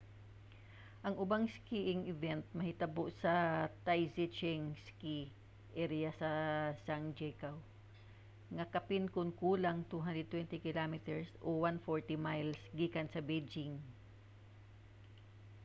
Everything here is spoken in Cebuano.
ang ubang skiing event mahitabo sa taizicheng ski area sa zhangjiakou nga kapin kon kulang 220 km 140 miles gikan sa beijing